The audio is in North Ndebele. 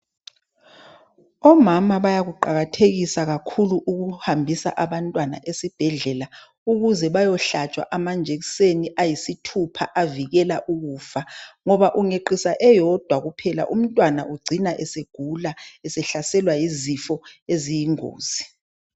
Omama bayakuqakathekisa kakhulu ukuhahambisa abantwana esibhedlela ukuze bayohlatshwa amajekiseni ayisithupha avikela ukufa ngoba ungeqisa eyodwa- kuphela umntwana ucina esegula esehlaselwa yizifo eziyingozi.